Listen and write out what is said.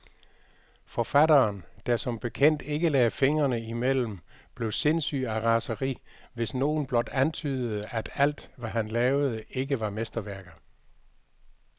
Forfatteren, der som bekendt ikke lagde fingrene imellem, blev sindssyg af raseri, hvis nogen blot antydede, at alt, hvad han lavede, ikke var mesterværker.